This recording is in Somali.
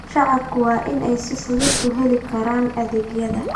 Shacabku waa in ay si fudud ku heli karaan adeegyada.